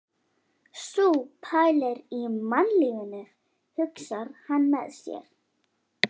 Sú pælir í mannlífinu, hugsar hann með sér.